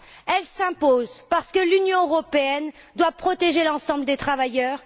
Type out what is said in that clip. Elle s'impose, parce que l'Union européenne doit protéger l'ensemble des travailleurs.